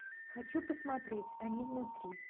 хочу посмотреть они внутри